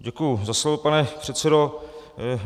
Děkuji za slovo, pane předsedo.